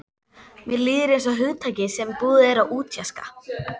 Mér líður einsog hugtaki sem búið er að útjaska.